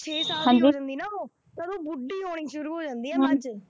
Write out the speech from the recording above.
ਛੇ ਸਾਲ ਦੀ ਹੋ ਜਾਂਦੀ ਨਾ ਉਹ ਤਾਂ ਉਦੋਂ ਬੁੱਢੀ ਹੋਣੀ ਸ਼ੁਰੂ ਹੋ ਜਾਂਦੀ ਹੈ ਮੱਝ,